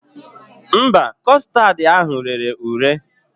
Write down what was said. Mba, kọstad ahụ rere ure